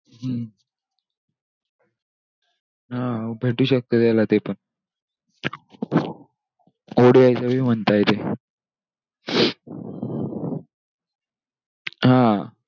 हम्म! हा भेटू शकतं त्याला ते पण. ODI चं पण म्हणताय ते.